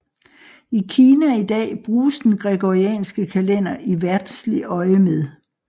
I Kina i dag bruges den gregorianske kalender i verdslig øjemed